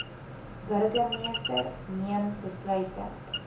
burgermeester neem besluite